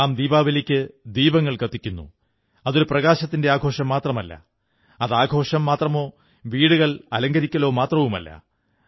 നാം ദീപാവലിക്ക് ദീപങ്ങൾ കത്തിക്കുന്നു അതൊരു പ്രകാശത്തിന്റെ ആഘോഷം മാത്രമല്ല അത് ആഘോഷം മാത്രമോ വീടുകൾ അലങ്കരിക്കലോ മാത്രവുമല്ല